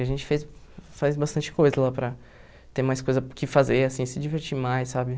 A gente fez faz bastante coisa lá para ter mais coisa que fazer, assim, se divertir mais, sabe?